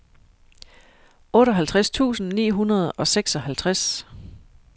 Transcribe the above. otteoghalvtreds tusind ni hundrede og seksoghalvtreds